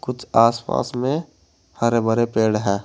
कुछ आस पास में हरे भरे पेड़ हैं।